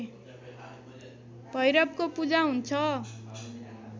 भैरवको पूजा हुन्छ